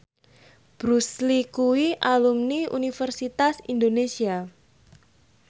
Bruce Lee kuwi alumni Universitas Indonesia